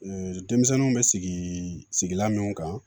denmisɛnninw bɛ sigi sigilan minnu kan